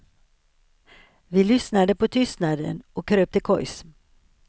Vi lyssnade på tystnaden och kröp till kojs.